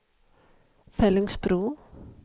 Fellingsbro